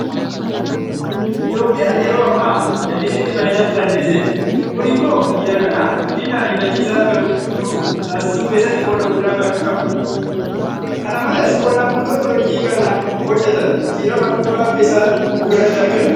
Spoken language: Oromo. Itoophiyaan yeroo ammaa jallisiitti fayyadamuu dandeesseetti. Kun immoo biyya kanaaf guddin ariifachiisaan akka dhufu taasisuu keessatti qooda guddaa qabu. Kana malees qonnaan bultoonni hojii kana hojjetan jijjiirama dhuunfaa akka isaan ofirratti argan taasiseera.